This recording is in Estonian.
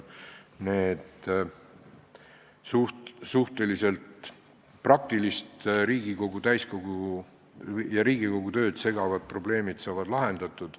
Need suhteliselt praktilised Riigikogu täiskogu tööd segavad probleemid saavad lahendatud.